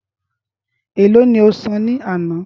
É lo ni osan ní àná?